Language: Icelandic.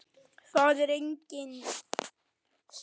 Það er engin saga.